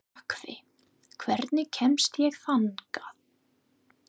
Nökkvi, hvernig kemst ég þangað?